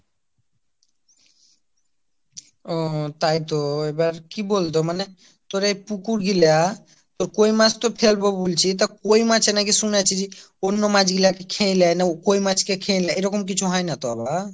ওহ তাই তো এবার কি বল তো মানে তোর এই পুকুর গুলা তোর কই মাছ তো ফেলবো বলছি, তা কই মাছ এ নাকি শুনেছি যে অন্য মাছ গুলা কে খেয়ে নেই না কই মাছ কে খেয়ে লাই এইরকম কিছু হয় না তো আবার।